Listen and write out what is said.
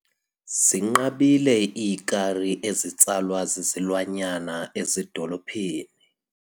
Zinqabile iikari ezitsalwa zizilwanyana ezidolophini.